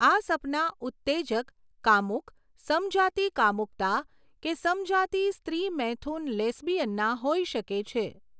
આ સપના ઉત્તેજક, કામુક, સમજાતિ કામુકતા કે સમજાતિ સ્ત્રી મૈથુન લેસ્બિયનના હોઈ શકે છે.